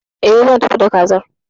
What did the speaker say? E, zan tafi da Kazar.